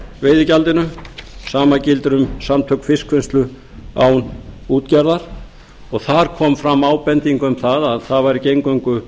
veiðigjaldinu það sama gildir um samtök fiskvinnslu án útgerðar og þar kom fram ábending um að það væri ekki eingöngu